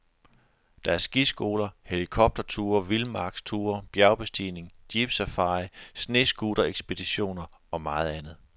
Der er skiskoler, helikopterture, vildmarksture, bjergbestigning, jeepsafari, snescooterekspeditioner og meget andet.